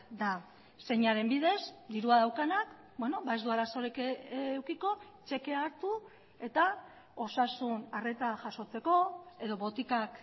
da zeinaren bidez dirua daukanak ez du arazorik edukiko txekea hartu eta osasun arreta jasotzeko edo botikak